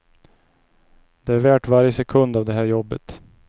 Det är värt varje sekund av det här jobbet.